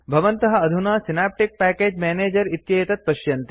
भवन्तः अधुना synaptic package manager इत्येतत् पश्यन्ति